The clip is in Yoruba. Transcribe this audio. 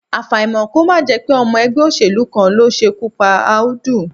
Àfàìmọ̀ kí ó má jẹ́ pé ọmọ ẹgbẹ́ òṣèlú kan ló ṣekú pa Audu